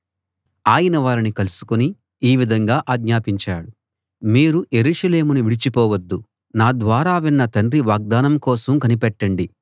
ఆయన వారిని కలుసుకుని ఈ విధంగా ఆజ్ఞాపించాడు మీరు యెరూషలేమును విడిచి పోవద్దు నా ద్వారా విన్న తండ్రి వాగ్దానం కోసం కనిపెట్టండి